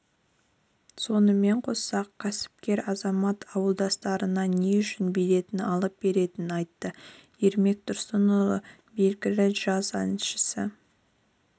сонымен қоса кәсіпкер азамат ауылдастарына не үшін билетін алып бергенін айтты ермек тұрсынұлы белгілі джаз әншісі